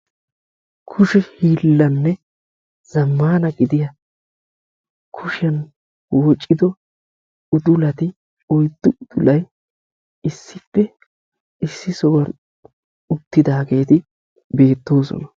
Kushe hiillanne zamaana gidiya oyddu udullatti issi bolla beetosonna.